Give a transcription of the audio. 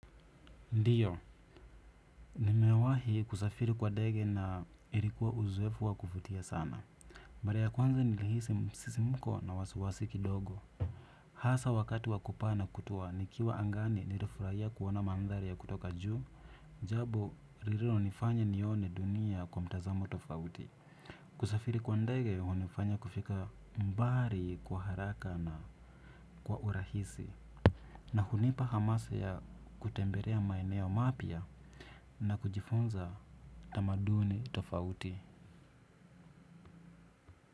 Ndiyo, nimewahi kusafiri kwa ndege na ilikuwa uzoefu wa kuvutia sana. Mara ya kwanza nilihisi msisimko na wasiwasi kidogo. Hasa wakati wa kupaa na kutua nikiwa angani nilifurahia kuona maadhari ya kutoka juu. Jambo, lililonifanya nione dunia kwa mtazamo tofauti. Kusafiri kwa ndege, hunifanya kufika mbali kwa haraka na kwa urahisi. Na hunipa hamasa ya kutembelea maeneo mapya na kujifuza tamaduni tofauti.